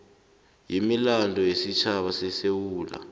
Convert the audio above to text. wemilando yesitjhaba wesewula